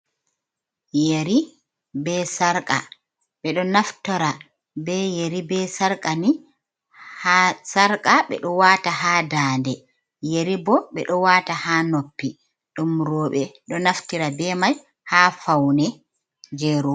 Yeri be sarƙa, ɓe ɗo naftira be yeri be sarƙa, ɓe ɗo waata haa daande, yeri bo ɓe ɗo waata haa noppi ɗum rooɓe ɗo naftira be mai haa faune je ro.